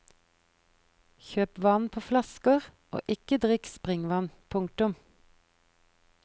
Kjøp vann på flasker og ikke drikk springvann. punktum